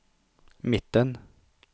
mitten